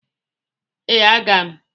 Ee, aga m.